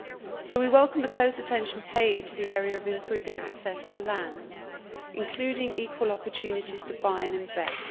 So we welcome the close attention paid to the area of improving access to land, including equal opportunities to buy and invest.